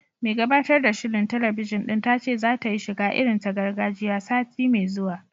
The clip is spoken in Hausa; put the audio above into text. Mai gabatar da shirin talabijin ɗin ta ce zata yi shiga irin ta gargajiya, sati mai zuwa